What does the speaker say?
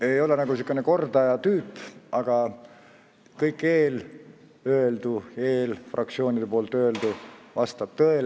Ma ei ole nagu sihukene kordaja tüüp, aga kõik eelöeldu, ka teiste fraktsioonide esindajate öeldu vastab tõele.